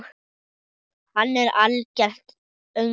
Hann er algert öngvit!